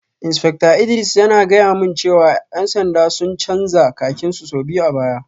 Insfekta Idris yana gaya mani jiya cewa ‘yan sanda sun canza kakin su sau biyu a baya